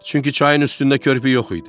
Çünki çayın üstündə körpü yox idi.